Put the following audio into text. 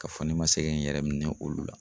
Ka fɔ ne ma se kɛ n yɛrɛ minɛ olu la.